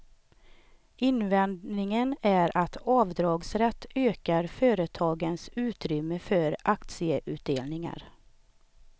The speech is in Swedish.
Invändningen är att avdragsrätt ökar företagens utrymme för aktieutdelningar.